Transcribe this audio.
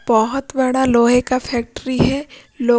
बहुत बड़ा लोहे का फैक्ट्री है।